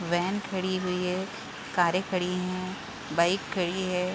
Van खड़ी हुई है कारे खड़ी हैं बाइक खड़ी है।